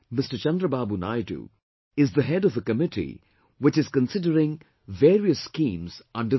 Chandrababu Naidu is the head of a committee which is considering various schemes under this